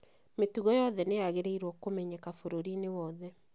mĩtugo yothe nĩ yagĩrĩirwo kũmenyeka bũrũriinĩ wothe